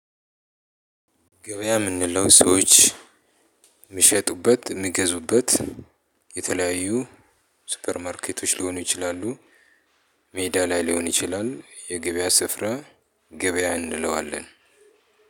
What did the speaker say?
ገበያ የምንለው ሰዎች የሚሸጡበት የሚገዙበት የተለያዩ ሱፐርማርኬቶች ሊሆኑ ይችላሉ። ሜዳ ላይ ሊሆን ይችላል የገበያ ስፍራ ገበያ እንለዋለን።